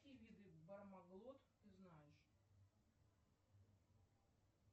какие виды бармаглот ты знаешь